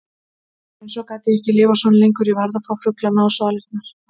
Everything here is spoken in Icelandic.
En svo gat ég ekki lifað svona lengur, ég varð að fá fuglana á svalirnar.